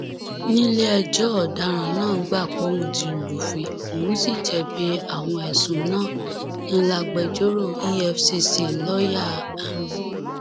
nílẹẹjọ ọdaràn náà gbà póun ti lùfín òun sì jẹbi àwọn ẹsùn náà ń lágbèjòrò efcc lọọyà m